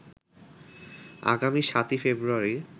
আগামী ৭ই ফেব্রুয়ারি